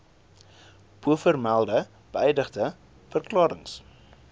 bovermelde beëdigde verklarings